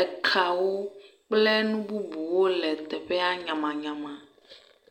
ekawo kple nu bubuwo le teƒea nyamanyama.